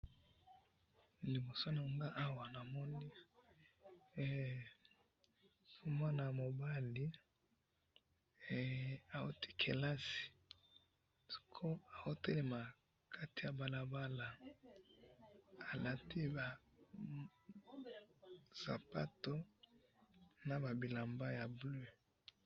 liboso nanga awa na moni mwana mobala ahuti kelasi azo telama na kati ya balabala alati ba sapatu naba bilamba ya bleu